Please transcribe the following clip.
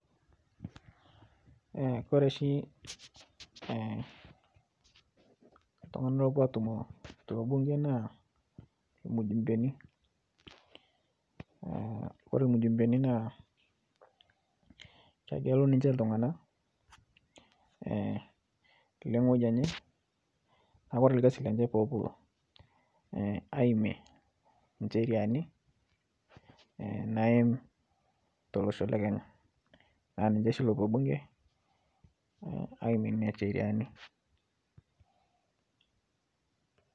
Ore oshi ee iltunganak oopuo aatumo torbunke naa irmujumbeni. Ore irmujumbeni naa kegelu ninche iltunganak ee etii ewueji enye naa ore ilkasi lenye pepuo aimie incheriani naaim tolosho le kenya. aa ninche oshi oopuo bunke aimie nina chriani